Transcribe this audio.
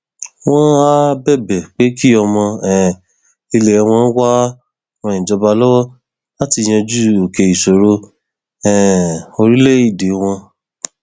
wọn áà bẹbẹ pé kí ọmọ um ilẹ wọn wàá ran ìjọba lọwọ láti yanjú òkè ìṣòro um orílẹèdè wọn